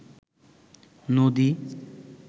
নদী